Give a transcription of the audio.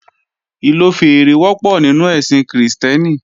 Ìlò fèèrè wọ́pọ̀ nínú ẹ̀sìn Krìstẹ́nì